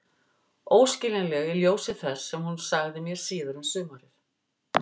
Óskiljanleg í ljósi þess sem hún sagði mér síðar um sumarið.